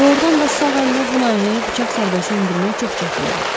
Doğrudan da sağ əllə bu naihəyə bıçaq zərbəsi endirmək çox çətindir.